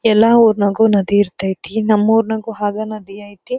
ಎಲ್ಲಾ ಊರಿನಾಗು ನದಿ ಇರತೈತಿ ನಮ್ಮೂರ್ನಾಗೂ ಹಾಗೆ ನದಿ ಐತಿ.